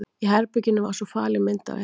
Í herberginu var svo falin myndavél.